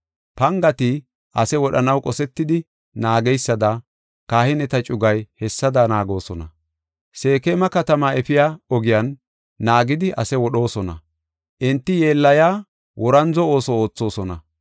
Pangati ase wodhanaw qosetidi naageysada kahineta cugay hessada naagoosona. Seekema katamaa efiya ogiyan naagidi ase wodhoosona; enti yeellaya worandzo ooso oothosona.